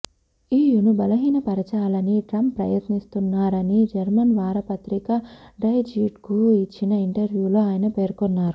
ఇయును బలహీనపరచాలని ట్రంప్ ప్రయత్నిస్తున్నారని జర్మన్ వార పత్రిక డై జీట్కు ఇచ్చిన ఇంటర్వ్యూలో ఆయన పేర్కొన్నారు